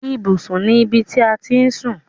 Ibùsùn ni ibi ti à ti ń sùn.